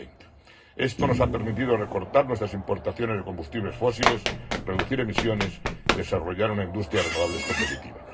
2020. Esto nos ha permitido recortar nuestras importaciones de combustibles fósiles, reducir emisiones y desarrollar una industria de renovables competitiva.